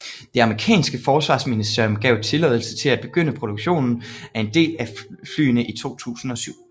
Det amerikanske forsvarsministerium gav tilladelse til at begynde produktionen af en del af flyene i 2007